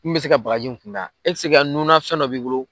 Min bɛ se ka bagaji in kunbɛ a e bɛ se ka nunna fɛn dɔ b'i bolo.